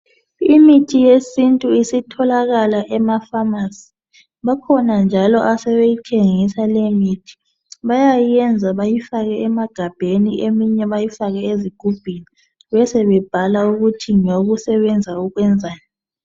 Imithi yesintu isitholakala emafamasi. Bakhona njalo asebeyithengisa leyomithi. Bayayenza bayifake emagabheni, eminye bayifake ezigubhini, besebebhala ukuthi ngeyokusebenza ukwenzani.